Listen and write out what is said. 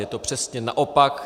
Je to přesně naopak.